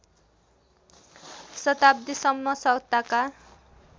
शताब्दीसम्म सत्ताका